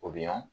O bɛ ɲɔn